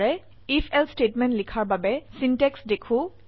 IfElse statement লিখাৰ বাবে syntax দেখো